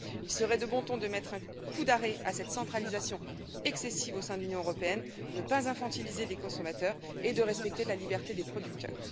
Il serait de bon ton de mettre un coup d'arrêt à cette centralisation excessive au sein de l'Union européenne, de ne pas infantiliser les consommateurs et de respecter la liberté des producteurs.